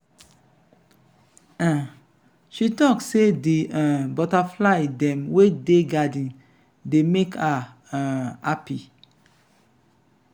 um she talk sey di um butterfly dem wey dey garden dey make her um hapi.